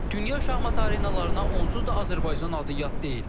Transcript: Dünya şahmat arenalarına onsuz da Azərbaycan adı yad deyil.